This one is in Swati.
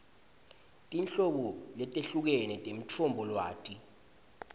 tinhlobo letehlukene temitfombolwati